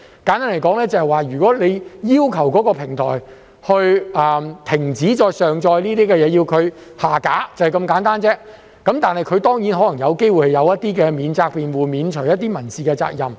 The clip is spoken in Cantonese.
簡單而言，如果當局要求某平台停止再上載某些資料，並要求其將有關資料下架——就是如此簡單而已——它可能有機會有一些免責辯護，以免除它一些民事責任。